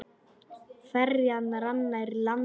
Ferjan rann nær landi.